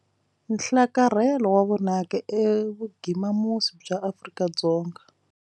Nhlakarhelo wa vonaka evugimamusi bya Afrika-Dzonga.